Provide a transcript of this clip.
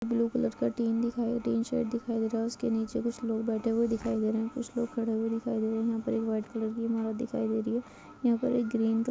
Blue colour का टीन दिखाई तीन शर्ट दिखाई दे रहा है उसके नीचे कुछ लोग बैठे हुए दिखाई दे रहे है कुछ लोग खड़े हुए दिखाई दे रहे है यहां पर एक व्हाइट कलर की इनोवा दिखाई दे रही है। यहां पर एक ग्रीन कलर की--